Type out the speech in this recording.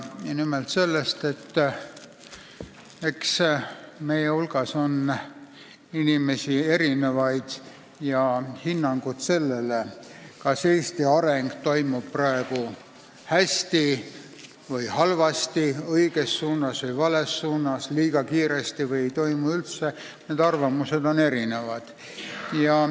Nimelt sellest, et eks meie hulgas ole erinevaid inimesi ja hinnangud, kas Eesti areng toimub praegu hästi või halvasti, õiges või vales suunas, liiga kiiresti või ei toimu üldse, on erinevad.